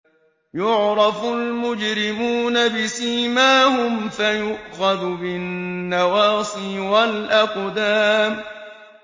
يُعْرَفُ الْمُجْرِمُونَ بِسِيمَاهُمْ فَيُؤْخَذُ بِالنَّوَاصِي وَالْأَقْدَامِ